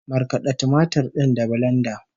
Markada tumatir din da bilenda